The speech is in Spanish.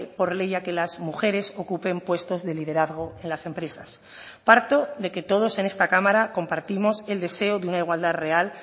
por ley a que las mujeres ocupen puestos de liderazgo en las empresas parto de que todos en esta cámara compartimos el deseo de una igualdad real